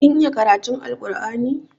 Kin iya karatun Alkur'ani?